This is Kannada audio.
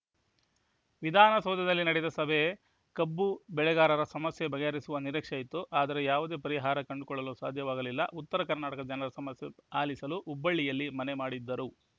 ವಿಧಾನಸೌಧದಲ್ಲಿ ನಡೆದ ಸಭೆ ಕಬ್ಬು ಬೆಳೆಗಾರರ ಸಮಸ್ಯೆ ಬಗೆಹರಿಸುವ ನಿರೀಕ್ಷೆ ಇತ್ತು ಆದರೆ ಯಾವುದೇ ಪರಿಹಾರ ಕಂಡುಕೊಳ್ಳಲು ಸಾಧ್ಯವಾಗಲಿಲ್ಲ ಉತ್ತರ ಕರ್ನಾಟಕದ ಜನರ ಸಮಸ್ಯೆ ಆಲಿಸಲು ಹುಬ್ಬಳ್ಳಿಯಲ್ಲಿ ಮನೆ ಮಾಡಿದ್ದರು